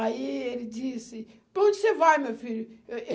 Aí ele disse, para onde você vai, meu filho?